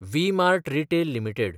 V-Mart retail limited